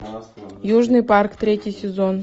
южный парк третий сезон